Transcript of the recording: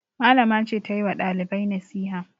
Malama ce ta yi wa ɗalibai nasiha.